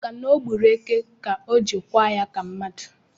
Maka na ọ gburu eke ka o jiri kwa ya ka mmadụ